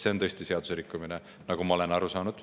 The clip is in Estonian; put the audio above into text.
See on tõesti seaduserikkumine, nagu ma olen aru saanud.